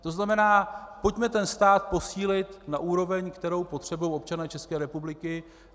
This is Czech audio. To znamená, pojďme ten stát posílit na úroveň, kterou potřebují občané České republiky.